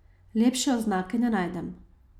Lepše oznake ne najdem.